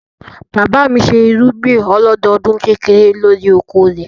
Bàbá mi ṣe irúgbìn ọlọ́dọdún kékeré lórí oko rẹ̀.